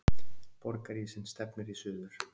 Borgarísinn stefnir í suður